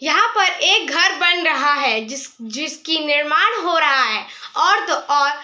यहाँ पर एक घर बन रहा है जिस जिसकी निर्माण हो रहा है और तो और --